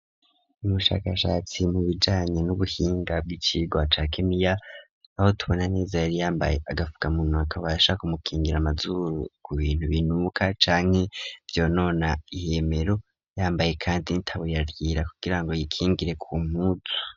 Umushakashatsi mu bijanye n'ubuhinga bw'icigwa ca kemia ,aho tubona neza yari yambaye agafuka munwa, kabasha kumukingira amazuru, ku bintu binuka canki vyo nona ihemero, yambaye kandi n'itaburiya ,kugira ngo yikingire ku mpuzu.